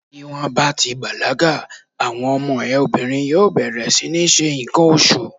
Tí wón bá ti bàlágà, àwọn ọmọ ẹ obìnrin yóò bẹ̀rẹ̀ sí ní ṣe ǹkan oṣù.